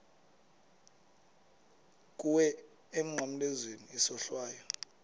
kuwe emnqamlezweni isohlwayo